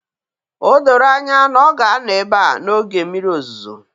O doro anya na ọ ga-anọ ebe a n'oge mmiri ozuzo